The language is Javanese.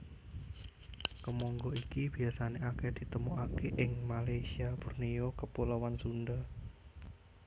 Kemangga iki biasané akèh ditemokaké ing Malasyia Borneo Kepulauan Sunda